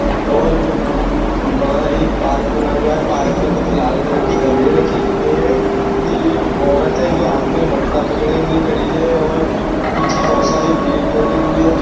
और न न उन वहाँ एक पार्क बना हुआ है पार्क में कुछ लाल कलर के गमले रखे हुए है ने एक औरत है जो हाथ मे मटका पकड़े हुए खड़ी है और पीछे बहुत सारे पेड़ लगे हुए है जहाँ--